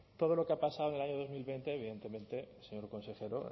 todo lo que ha pasado en el año dos mil veinte evidentemente señor consejero